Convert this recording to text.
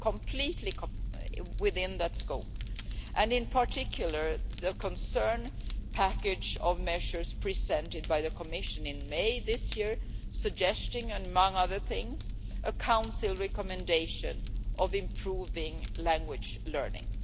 We are completely within that scope, and in particular the concerned package of measures presented by the Commission in May this year suggesting, among other things, a Council recommendation for improving language learning.